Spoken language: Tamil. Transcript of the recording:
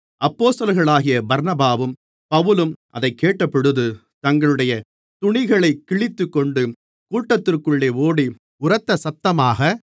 அப்போஸ்தலர்களாகிய பர்னபாவும் பவுலும் அதைக் கேட்டபொழுது தங்களுடைய துணிகளைக் கிழித்துக்கொண்டு கூட்டத்திற்குள்ளே ஓடி உரத்த சத்தமாக